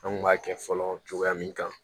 An kun b'a kɛ fɔlɔ cogoya min kan